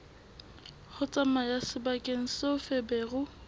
ho tsamaya sebakeng seo feberu